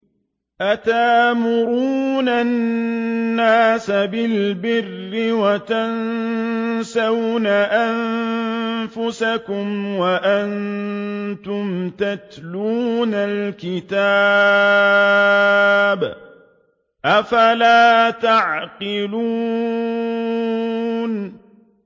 ۞ أَتَأْمُرُونَ النَّاسَ بِالْبِرِّ وَتَنسَوْنَ أَنفُسَكُمْ وَأَنتُمْ تَتْلُونَ الْكِتَابَ ۚ أَفَلَا تَعْقِلُونَ